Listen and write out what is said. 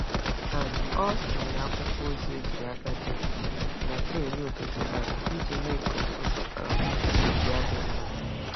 um Ọ tinyere akwụkwọ ozi ejiri aka dee na tray nri ụtụtụ um iji mee ka ụtụtụ um ya dị mma.